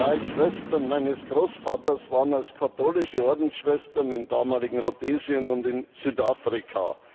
Drei Schwestern meines Großvaters waren als katholische Ordensschwestern im damaligen Rhodesien und in Südafrika.